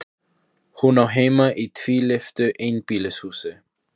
Hún á heima í tvílyftu einbýlishúsi.